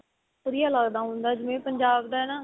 ਵਧੀਆ ਲੱਗਦਾ ਹੁੰਦਾ ਜਿਵੇਂ ਪੰਜਾਬ ਦਾ ਨਾ